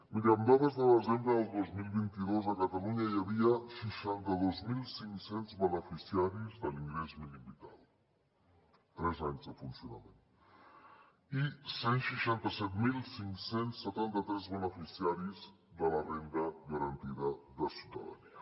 miri amb dades de desembre del dos mil vint dos a catalunya hi havia seixanta dos mil cinc cents beneficiaris de l’ingrés mínim vital tres anys de funcionament i cent i seixanta set mil cinc cents i setanta tres beneficiaris de la renda garantida de ciutadania